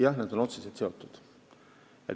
Jah, need on otseselt seotud.